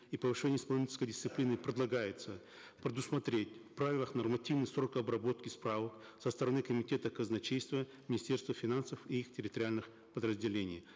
и повышения исполнительской дисциплины предлагается предусмотреть в правилах нормативный срок обработки справок со стороны комитета казначейства министерства финансов и их территориальных подразделений